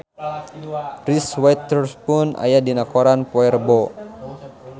Reese Witherspoon aya dina koran poe Rebo